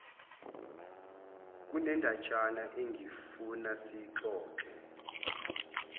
kunendatshana engifuna siyixoxe